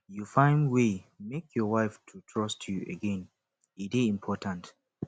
you find wey make your wife to trust you again e dey important